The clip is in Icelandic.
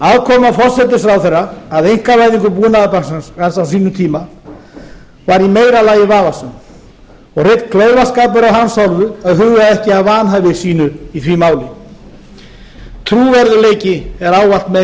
aðkoma forsætisráðherra að einkavæðingu búnaðarbankans á sínum tíma var í meira lagi vafasöm og hreinn klaufaskapur af hans hálfu að huga ekki að vanhæfi sínu í því máli trúverðugleiki er ávallt meira